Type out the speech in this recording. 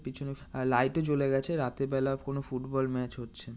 পিছনে লাইটও জ্বলে গেছে রাতের বেলা কোন ফুটবল ম্যাচ হচ্ছে।